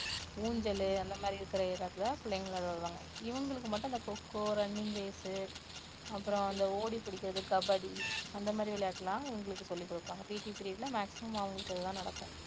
ஊஞ்சலு அந்த மாதிரி இருக்கிற இடத்தில பிள்ளைகளை விளையாட விடுவாங்க, இவங்களுக்கு மட்டும் அந்த kho kho, running race உ அப்புறம் அந்த ஒடி பிடிக்கிறது, கபடி அந்த மாதிரி விளையாட்டெல்லாம் இவங்களுக்கு சொல்லிக் குடுப்பாங்க. PT period ல maximum அவங்களுக்கு இது தான் நடக்கும்